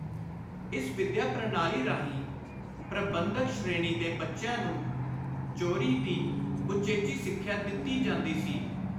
ਇਸ ਵਿੱਦਿਆ ਪ੍ਰਣਾਲੀ ਰਾਹੀਂ ਪ੍ਰਬੰਧਕ ਸ਼੍ਰੇਣੀ ਦੇ ਬੱਚਿਆਂ ਨੂੰ ‘ਚੋਰੀ’ ਦੀ ਉਚੇਚੀ ਸਿੱਖਿਆ ਦਿੱਤੀ ਜਾਂਦੀ ਸੀ।